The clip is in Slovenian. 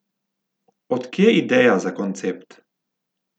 Od kje ideja za koncept?